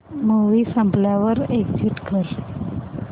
movie संपल्यावर exit कर